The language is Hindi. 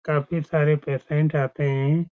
काफी सारे पेशेंट आते हैं।